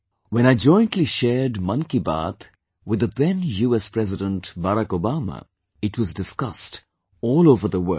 When I jointly shared 'Mann Ki Baat' with the then US President Barack Obama, it was discussed all over the world